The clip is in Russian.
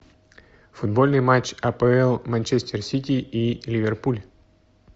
футбольный матч апл манчестер сити и ливерпуль